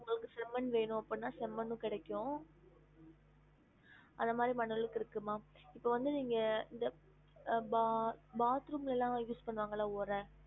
உங்களுக்கு செம்மண் வேணும் அப்புட்னா செம்மண்ணும் கிடைக்கும் அதே மாதிரி மணல்க்கு இருக்கு மா இப்ப வந்து நீங்க இந்த ba~ bathroom ல எல்லாம் use பண்ணுவாங்கல ஒர